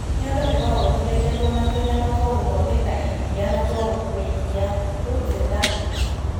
Nyondo ĩkoragũo ĩthondeketwo nĩ tũnyamũ twa gũthondeka iria na twa gũkua iria(lobes and ducts).